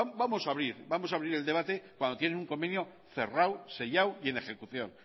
vamos a abrir el debate cuando tienen un convenio cerrado sellado y en ejecución